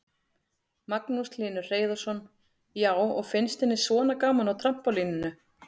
Magnús Hlynur Hreiðarsson: Já, og finnst henni svona gaman á trampólíninu?